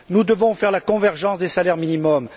Nous devons réaliser la convergence des salaires minimums.